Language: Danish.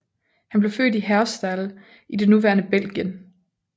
Han blev født i Herstal i det nuværende Belgien